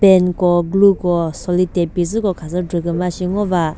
pen ko glue ko solitap bizüko khasü dqwü küva shi ngo va.